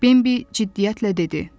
Bembi ciddiyyətlə dedi: